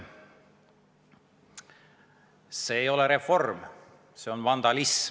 See ei ole reform, see on vandalism.